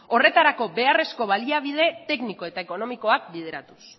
horretarako beharrezko baliabide tekniko eta ekonomikoak bideratuz